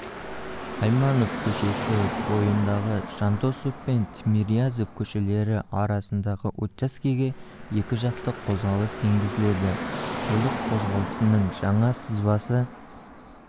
айманов көшесі бойындағыжандосов пен тимирязев көшелері арасындағы учаскеге екі жақты қозғалыс енгізіледі көлік қозғалысының жаңа сызбасы